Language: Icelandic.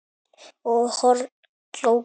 og horn glóa